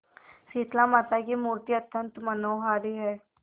शीतलामाता की मूर्ति अत्यंत मनोहारी है